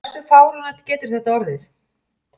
Hversu fáránlegt getur þetta orðið?